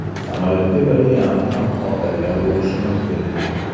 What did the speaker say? Samolyotga brilliant ham ortilgan bo‘lishi mumkin.